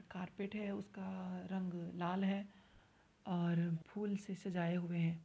Carpet है उसका रंग लाल है और फूल से सजाए हुए हैं।